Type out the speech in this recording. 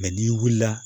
n'i wulila